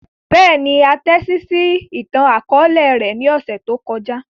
Bẹ́ẹ̀ni, a tẹtisi itan-akọọlẹ rẹ ni ọsẹ to kọja.